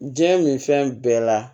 Diɲɛ nin fɛn bɛɛ la